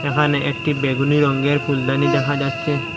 এখানে একটি বেগুনি রংয়ের ফুলদানি দেখা যাচ্ছে।